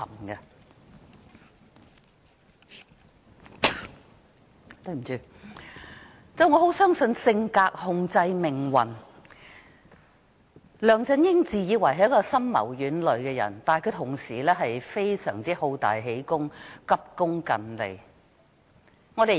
我非常相信性格控制命運，梁振英自以為深謀遠慮，但其實他亦是一個好大喜功、急功近利的人。